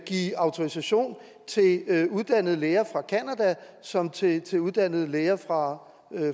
give autorisation til uddannede læger fra canada som til til uddannede læger fra